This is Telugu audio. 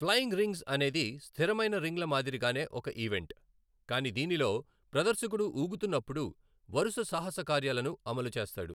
ఫ్లయింగ్ రింగ్స్ అనేది స్థిరమైన రింగ్ల మాదిరిగానే ఒక ఈవెంట్, కానీ దీనిలో ప్రదర్శకుడు ఊగుతున్నప్పుడు వరుస సాహసకార్యాలను అమలు చేస్తాడు.